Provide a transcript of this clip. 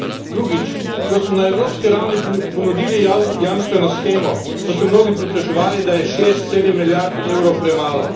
Drugič ko smo na evropski ravni ponudili jamstveno shemo, so se mnogi pritoževali, da je šest, sedem milijard evrov premalo.